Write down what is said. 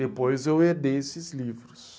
Depois eu herdei esses livros.